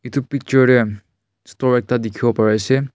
edu picture de store ekta dikhiwo pariase.